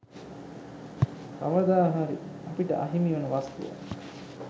කවදා හරි අපිට අහිමිවන වස්තුවක්.